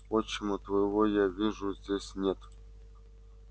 отчима твоего я вижу здесь нет